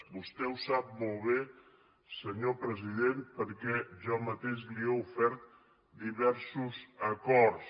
vostè ho sap molt bé senyor president perquè jo mateix li he ofert diversos acords